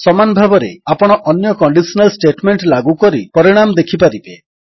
ସମାନ ଭାବରେ ଆପଣ ଅନ୍ୟ କଣ୍ଡିଶନାଲ୍ ଷ୍ଟେଟମେଣ୍ଟ ଲାଗୁ କରି ପରିଣାମ ଦେଖିପାରିବେ